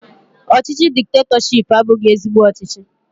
Ọchịchị diktetọshiipu abụghị ezigbo ọchịchị